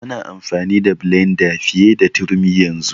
Ana amfani da blenda fiye da turmi yanzu.